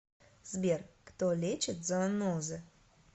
сбер кто лечит зоонозы